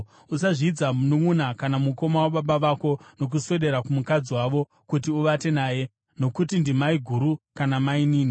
“ ‘Usazvidza mununʼuna kana mukoma wababa vako nokuswedera kumukadzi wavo kuti uvate naye; nokuti ndimaiguru kana mainini.